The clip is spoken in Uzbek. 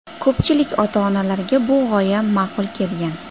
Ko‘pchilik ota-onalarga bu g‘oya ma’qul kelgan.